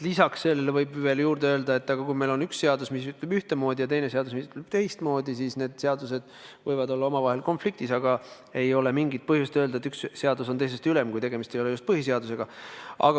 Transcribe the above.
Lisaks sellele võib juurde öelda, et kui meil on üks seadus, mis ütleb ühtemoodi, ja teine seadus, mis ütleb teistmoodi, siis need seadused võivad olla omavahel konfliktis, aga ei ole mingit põhjust öelda, et üks seadus on teisest ülem, kui tegemist ei ole just põhiseadusega.